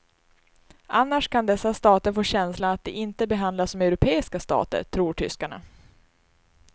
Annars kan dessa stater få känslan att de inte behandlas som europeiska stater, tror tyskarna.